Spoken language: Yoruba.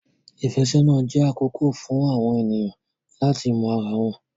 Ìfẹ́sọ́nà jẹ́ àkókò fún àwọn ènìyàn láti mọ ara wọn.